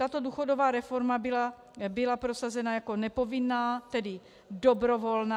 Tato důchodová reforma byla prosazena jako nepovinná, tedy dobrovolná.